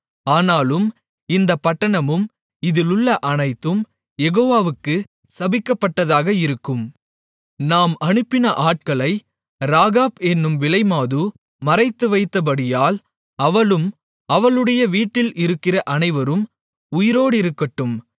ஆனாலும் இந்தப் பட்டணமும் இதில் உள்ள அனைத்தும் யெகோவாவுக்கு சபிக்கப்பட்டதாக இருக்கும் நாம் அனுப்பின ஆட்களை ராகாப் என்னும் விலைமாது மறைத்துவைத்தபடியால் அவளும் அவளுடைய வீட்டில் இருக்கிற அனைவரும் உயிரோடிருக்கட்டும்